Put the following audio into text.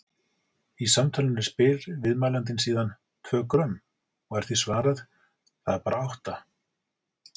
Í samtalinu spyr viðmælandinn síðan: Tvö grömm? og er því svarað: Það er bara átta.